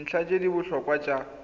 dintlha tse di botlhokwa tsa